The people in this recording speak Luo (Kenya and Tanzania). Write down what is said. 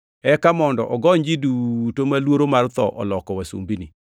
eka mondo ogony ji duto ma luoro mar tho oloko wasumbini.